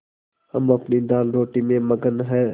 हम अपनी दालरोटी में मगन हैं